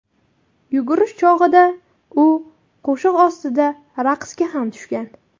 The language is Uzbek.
Yugurish chog‘ida u qo‘shiq ostida raqsga ham tushgan.